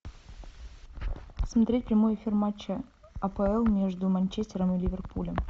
смотреть прямой эфир матча апл между манчестером и ливерпулем